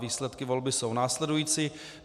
Výsledky volby jsou následující.